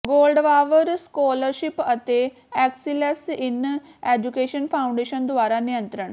ਗੋਲਡਵਾਵਰ scholarship ਅਤੇ excellence in education foundation ਦੁਆਰਾ ਨਿਯੰਤ੍ਰਣ